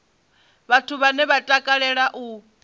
vhathu vhane vha takalela u